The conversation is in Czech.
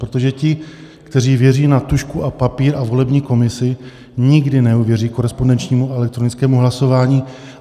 Protože ti, kteří věří na tužku a papír a volební komisi, nikdy neuvěří korespondenčnímu a elektronickému hlasování.